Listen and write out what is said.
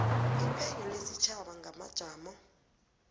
iphenyo lesitjhaba ngamajamo